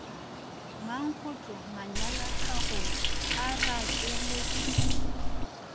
mankgohlo manyelaphagong a rakeletšwe ke